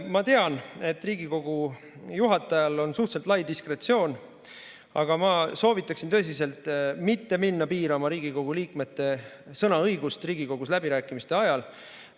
Ma tean, et Riigikogu juhatajal on suhteliselt lai diskretsioon, aga ma soovitan tõsiselt mitte minna piirama Riigikogu liikmete sõnaõigust Riigikogus läbirääkimiste ajal.